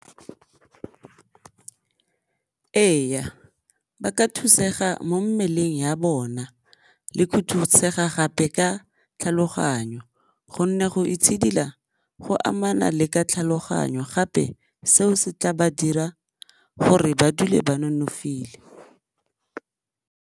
Ee, ba ka thusega mo mmeleng ya bona le go thusega gape ka tlhaloganyo gonne go itshidila go amana le ka tlhaloganyo gape seo se tla ba dira gore ba dule ba nonofile.